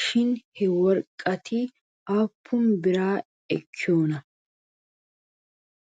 shin he worqqati aappun bira ekkiyoona?